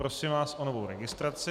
Prosím vás o novou registraci.